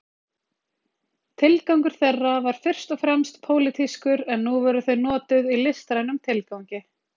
Tilgangur þeirra var fyrst og fremst pólitískur en nú voru þau notuð í listrænum tilgangi.